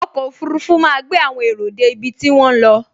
Ọkọ̀ ọfurufú máa gbé àwọn èrò dé ibi tí wọ́n ń lọ